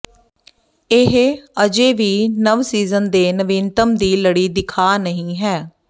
ਇਹ ਅਜੇ ਵੀ ਨਵ ਸੀਜ਼ਨ ਦੇ ਨਵੀਨਤਮ ਦੀ ਲੜੀ ਦਿਖਾ ਨਹੀ ਹੈ